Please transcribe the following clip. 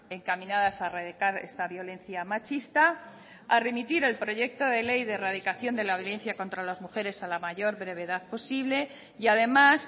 encaminadas a erradicar esta violencia machista a remitir el proyecto de ley de erradicación de la violencia contra las mujeres a la mayor brevedad posible y además